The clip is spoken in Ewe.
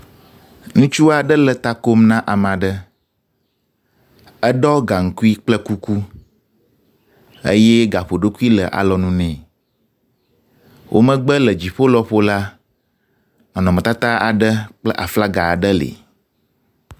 Ŋutsu aɖe le ta kom na ame aɖe. Eɖɔ gaŋkui kple kuku eye daƒoɖokui le alɔnu nɛ. Wo megbe le dziƒo lɔƒo la nɔnɔmetata aɖe kple aflaga aɖe li.